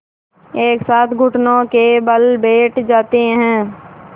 एक साथ घुटनों के बल बैठ जाते हैं